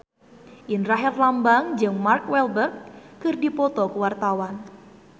Indra Herlambang jeung Mark Walberg keur dipoto ku wartawan